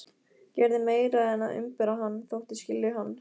Gerði meira en að umbera hann: þóttist skilja hann.